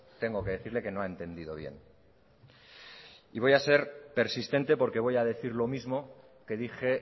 tengo que decirle que no ha entendido bien y voy a ser persistente porque voy a decir lo mismo que dije